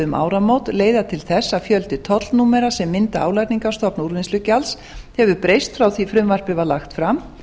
um áramót leiða til þess að fjöldi tollnúmera sem mynda álagningarstofn úrvinnslugjalds hefur breyst frá því að frumvarpið var lagt fram